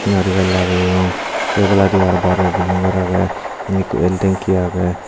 senari gaz lageyon se oboladiyo araw bor bor bilding gor agey inni ekko el tingki agey.